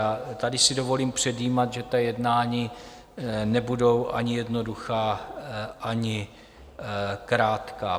A tady si dovolím předjímat, že ta jednání nebudou ani jednoduchá ani krátká.